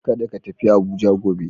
Kada ka tafi Abuja gobe.